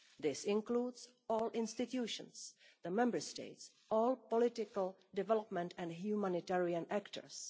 This includes all institutions, the Member States and all political, development and humanitarian actors.